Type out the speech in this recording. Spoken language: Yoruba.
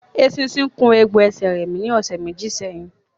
Eṣinṣin kun egbò ẹsẹ̀ rẹmi ní ọ̀sẹ̀ méjì sẹ́yìn